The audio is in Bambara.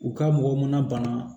U ka mɔgɔ mana bana